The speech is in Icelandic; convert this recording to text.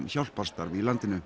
hjálparstarf í landinu